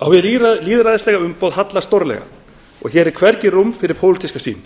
á hið lýðræðislega umboð hallar stórlega og hér er hvergi rúm fyrir pólitíska sýn